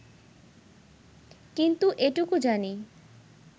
কিন্তু এটুকু জানি